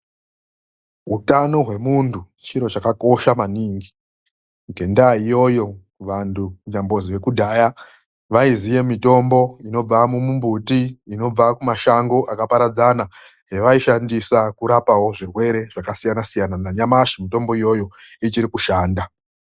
Utano hwemuntu chiro chakakosha maningi ngendaa iyoyo vantu kunyambozi vekudhaya vaiziya mitombo inobva mumumbuti inobva mumashango akaparadzana yavayishandisa kurapawo zvirwere zvakasiyanasiyana nanyamashi mutombo iyoyo ichiri kushanda